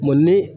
ni